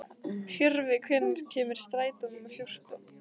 Tjörvi, hvenær kemur strætó númer fjórtán?